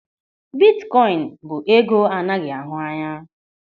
Bitkoin bụ ego anaghị ahụ anya.